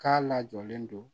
K'a lajɔlen don